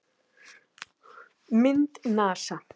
Mynd: NASA